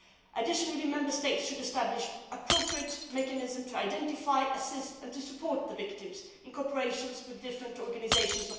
Additionally, the Member States should establish appropriate mechanisms to identify, assist and support the victims in cooperation with different support organisations.